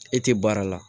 E tɛ baara la